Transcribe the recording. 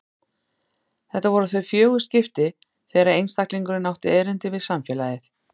Þetta voru þau fjögur skipti þegar einstaklingurinn átti erindi við samfélagið.